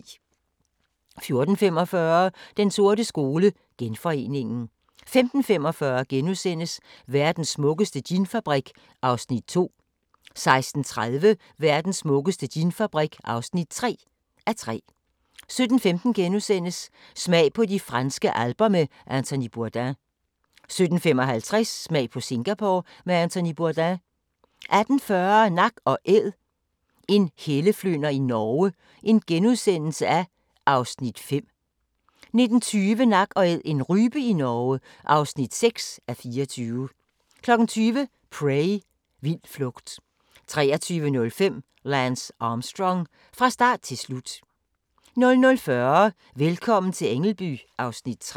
14:45: Den sorte skole: Genforeningen 15:45: Verdens smukkeste ginfabrik (2:3)* 16:30: Verdens smukkeste ginfabrik (3:3) 17:15: Smag på de franske alper med Anthony Bourdain * 17:55: Smag på Singapore med Anthony Bourdain 18:40: Nak & Æd - En helleflynder i Norge (5:24)* 19:20: Nak & Æd - en rype i Norge (6:24) 20:00: Prey – Vild flugt 23:05: Lance Armstrong – fra start til slut 00:40: Velkommen til Ängelby (Afs. 3)